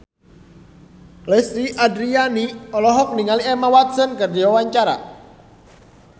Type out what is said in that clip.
Lesti Andryani olohok ningali Emma Watson keur diwawancara